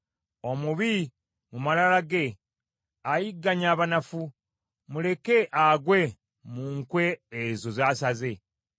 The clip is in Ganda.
Omubi, mu malala ge, ayigganya abanafu; muleke agwe mu nkwe ezo z’asaze.